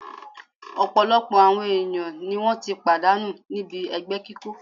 Ọ̀̀pọ̀lọpọ̀ àwọn ènìyàn ni wọ́n ti pàdánù níbi ẹgbẹ́ kíkó